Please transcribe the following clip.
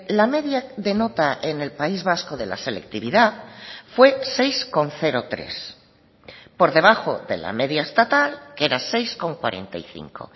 la media de nota en el país vasco de la selectividad fue seis coma tres por debajo de la media estatal que era seis coma cuarenta y cinco